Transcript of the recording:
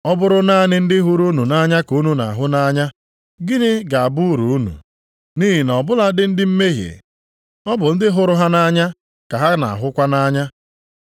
“Ọ bụrụ naanị ndị hụrụ unu nʼanya ka unu na-ahụ nʼanya, gịnị ga-abụ uru unu? Nʼihi na ọbụladị ndị mmehie, ọ bụ ndị hụrụ ha nʼanya ka ha na-ahụkwa nʼanya.